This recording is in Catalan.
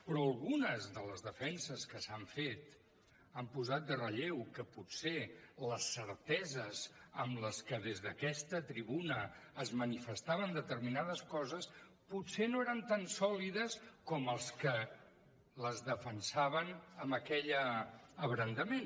però algunes de les defenses que s’han fet han posat en relleu que potser les certeses amb les que des d’aquesta tribuna es manifestaven determinades coses potser no eren tan sòlides com deien els que les defensaven amb aquell abrandament